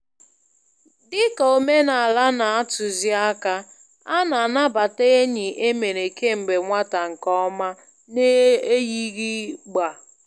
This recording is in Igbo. Dị ka omenala na-atuzi àkà, a na-anabata enyi e mere kemgbe nwata nke ọma n'eyighị gbá.